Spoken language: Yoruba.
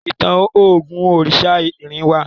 Ìtàn ògún oriṣa ìrìn wá.